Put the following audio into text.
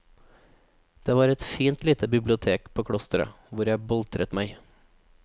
Det var et fint lite bibliotek på klosteret, hvor jeg boltret meg.